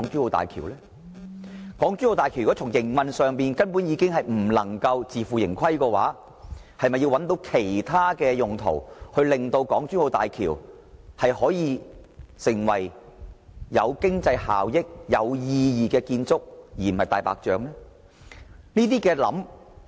如果港珠澳大橋的營運根本不能自負盈虧，那麼是否應尋求其他用途，令港珠澳大橋具經濟效益和變得有意義，而不是成為"大白象"呢？